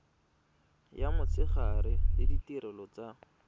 ya motshegare le ditirelo tsa